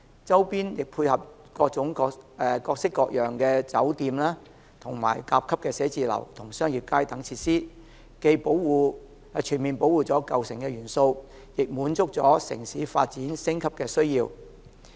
周邊亦配合各式各樣的酒店、甲級寫字樓和商業街等設施，既全面保護了舊城元素，亦滿足了城市發展升級的需要。